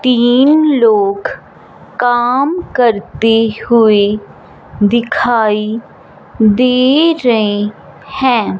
तीन लोग काम करते हुए दिखाई दे रहे हैं।